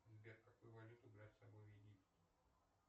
сбер какую валюту брать с собой в египет